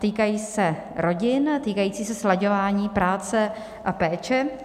Týkají se rodin, týkají se slaďování práce a péče.